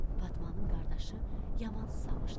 Fatmanın qardaşı yaman susamışdı.